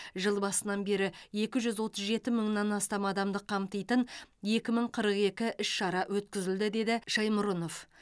жыл басынан бері екі жүз отыз жеті мыңнан астам адамды қамтитын екі мың қырық екі іс шара өткізілді деді шаймұрынов